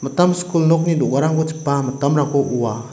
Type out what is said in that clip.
mitam skul nokni do·garangko chipa mitamrangko oa.